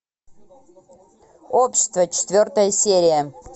общество четвертая серия